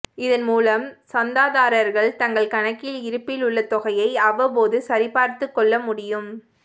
இதன் மூலம் சந்தாதாரர்கள் தங்கள் கணக்கில் இருப்பில் உள்ள தொகையை அவ்வப்போது சரிபார்த்துக் கொளள முடியும்